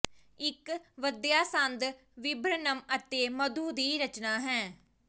ਇੱਕ ਵਧੀਆ ਸੰਦ ਵਿਬਰਨਮ ਅਤੇ ਮਧੂ ਦੀ ਰਚਨਾ ਹੈ